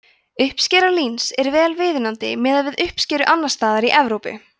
uppskera líns er vel viðunandi miðað við uppskeru annars staðar í evrópu